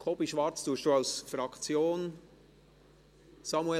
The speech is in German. Kobi Schwarz, sprichst du als Fraktionssprecher?